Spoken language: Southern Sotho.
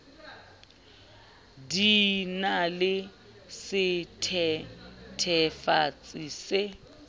di na le sethethefatsi se